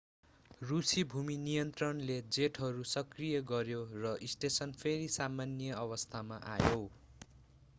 रूसी भूमि नियन्त्रणले जेटहरू सक्रिय गर्‍यो र स्टेसन फेरि सामान्य अवस्थामा आयो।